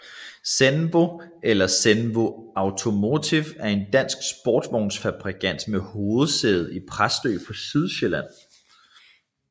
Zenvo eller Zenvo Automotive er en dansk sportsvognsfabrikant med hovedsæde i Præstø på Sydsjælland